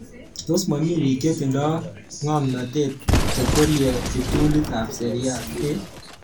Tos momi biik chetindo ngomnatet chekwerie kiptulit ab Serie A?